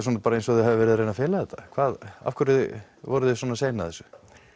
svona eins og þið hafið verið að reyna að fela þetta af hverju voruði svona sein að þessu